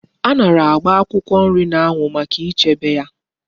Anara agba akwukwo nri na anwu Maka ichebe ya